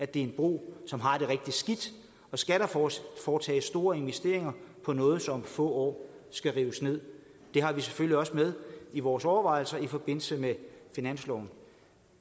det er en bro som har det rigtig skidt og skal der foretages foretages store investeringer på noget som om få år skal rives ned det har vi selvfølgelig også med i vores overvejelser i forbindelse med finansloven